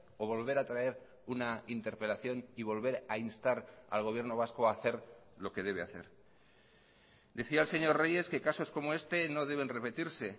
o volver a traer una interpelación y volver a instar al gobierno vasco a hacer lo que debe hacer decía el señor reyes que casos como este no deben repetirse